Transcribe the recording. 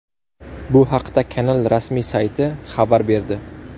Bu haqda kanal rasmiy sayti xabar berdi .